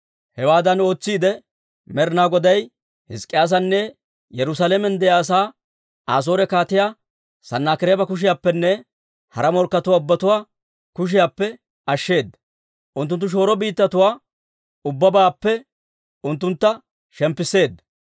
Hewaadan ootsiidde, Med'inaa Goday Hizk'k'iyyaasanne Yerusaalamen de'iyaa asaa Asoore Kaatiyaa Sanaakireeba kushiyaappenne hara morkkatuwaa ubbatuwaa kushiyaappe ashsheeda; unttunttu shooro biittatuwaa ubbabaappe unttunttu shemppisseedda.